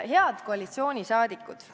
Head koalitsiooni liikmed!